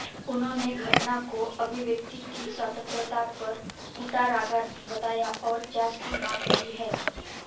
उन्होंने घटना को अभिव्यक्ति की स्वतंत्रता पर कुठाराघात बताया और जांच की मांग की है